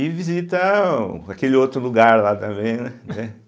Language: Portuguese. E visita aquele outro lugar lá também, né? entende